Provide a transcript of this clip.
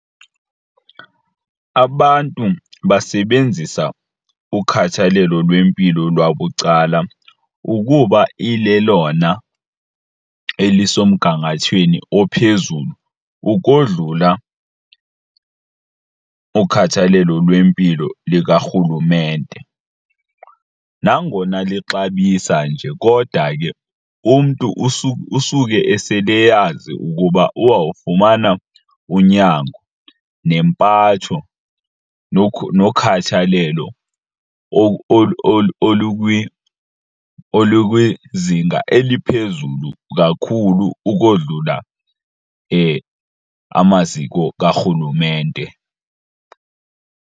Abantu basebenzisa ukhathalelo lwempilo lwabucala ukuba ilelona elisemgangathweni ophezulu ukodlula ukhathalelo lwempilo likarhulumente. Nangona luxabisa nje kodwa ke umntu usuke esele eyazi ukuba uzawufumana unyango nempatho nokhathalelo olukwizinga eliphezulu kakhulu ukodlula amaziko karhulumente.